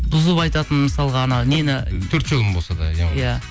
бұзып айтатын мысалға анау нені төрт жолын болса да иә